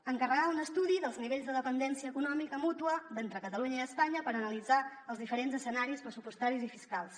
encarregar un estudi dels nivells de dependència econòmica mútua entre catalunya i espanya per analitzar els diferents escenaris pressupostaris i fiscals